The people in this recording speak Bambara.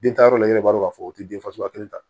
Den ta yɔrɔ la i yɛrɛ b'a dɔn k'a fɔ o ti den fasuguya kelen ta